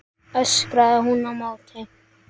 öskraði hún á móti.